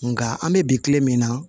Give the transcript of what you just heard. Nka an bɛ bi kile min na